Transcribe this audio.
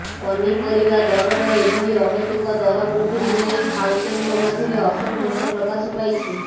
ପନିପରିବା ଦରର ଏଭଳି ଅହେତୁକ ଦର ବୃଦ୍ଧିକୁ ନେଇ ଖାଉଟିଙ୍କ ମଧ୍ୟରେ ଅସନ୍ତୋଷ ପ୍ରକାଶ ପାଇଛି